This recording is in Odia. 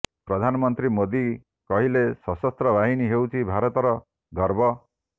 ପ୍ରଧାନମନ୍ତ୍ରୀ ମୋଦୀ କହିଲେ ଶସସ୍ତ୍ର ବାହିନୀ ହେଉଛି ଭାରତର ଗର୍ବ